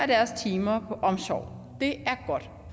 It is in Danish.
deres timer på omsorg det er godt